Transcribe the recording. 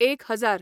एक हजार